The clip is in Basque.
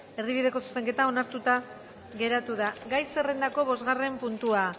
erdibideko zuzenketa onartuta geratu da gai zerrendako bosgarren puntua